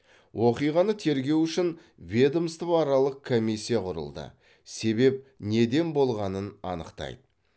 оқиғаны тергеу үшін ведомствоаралық комиссия құрылды себеп неден болғанын анықтайды